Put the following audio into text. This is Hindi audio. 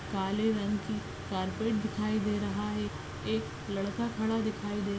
काले रंग की कार्पेट दिखाई दे रहा है एक लडका खडा दिखाई दे --